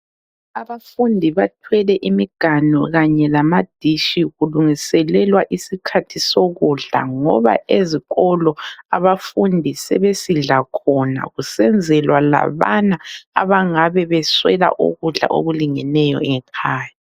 Abafundi bathwele imiganu kanye lamadishi kulungiselelwa isikhathi sokudla ngoba ezikolo abafundi sebesidla khona kusenzelwa labana abangabe beswela ukudla okulingeneyo ngekhaya.